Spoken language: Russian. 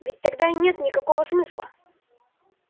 ведь тогда нет никакого смысла